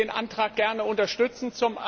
Ich möchte den Antrag gern unterstützen.